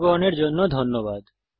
অংশগ্রহনের জন্য ধন্যবাদ